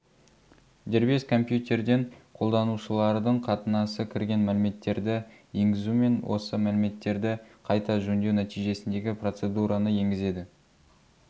дербес компьютерден қолданушылардың қатынасы кірген мәліметтерді енгізумен осы мәліметтерді қайта жөндеу нәтижесіндегі процедураны енгізеді